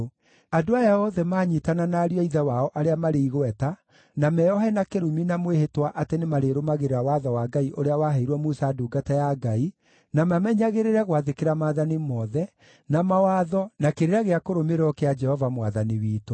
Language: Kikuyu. andũ aya othe maanyiitana na ariũ a ithe wao arĩa marĩ igweta, na meeohe na kĩrumi na mwĩhĩtwa atĩ nĩmarĩrũmagĩrĩra Watho wa Ngai ũrĩa waheirwo Musa ndungata ya Ngai, na mamenyagĩrĩre gwathĩkĩra maathani mothe, na mawatho, na kĩrĩra gĩa kũrũmĩrĩrwo kĩa Jehova Mwathani witũ.